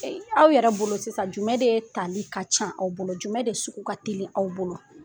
Ɛ aw yɛrɛ bolo sisan jumɛn de tali ka ca aw bolo jumɛn de sugu ka teli aw bolo